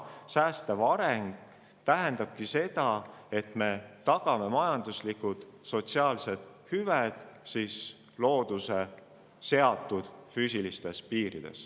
Säästev areng tähendabki seda, et me tagame majanduslikud ja sotsiaalsed hüved looduse seatud füüsilistes piirides.